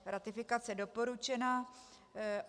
Ratifikace doporučena.